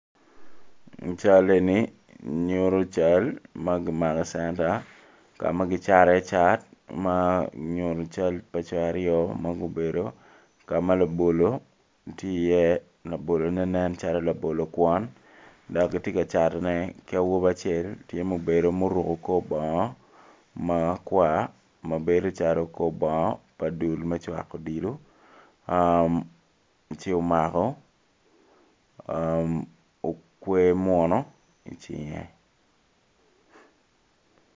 Cal eni nyuto cal ma kimako i centa ka ma kicato iye cat ma nyuto co aryo ma gubedo ka ma labolo tye iye labolone nencalo labolo kwon ki awobi acel tye ma obedo ma oruko kor bongo makwar mabedo calo kor bongo me dul me cwako odilo ci omako okwer muno i cinge.